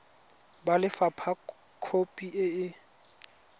ba lefapha khopi e e